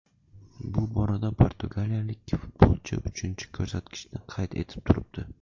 Bu borada portugaliyalik futbolchi uchinchi ko‘rsatkichni qayd etib turibdi.